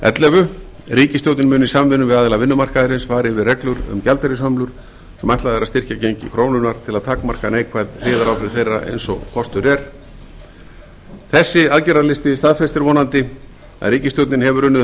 ellefu ríkisstjórnin mun í samvinnu við aðila vinnumarkaðarins fara yfir reglur um gjaldeyrishömlur sem ætlað er að styrkja gengi krónunnar til að takmarka neikvæð hliðaráhrif þeirra eins og kostur er þessi aðgerðalisti staðfestir vonandi að ríkisstjórnin hefur unnið